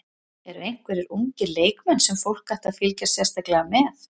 Eru einhverjir ungir leikmenn sem fólk ætti að fylgjast sérstaklega með?